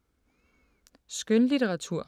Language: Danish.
Skønlitteratur